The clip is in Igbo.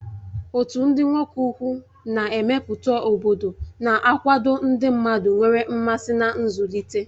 Otu ndị nwoke ukwu na-emepụta obodo na-akwado ndị mmadụ nwere mmasị na nzụlite.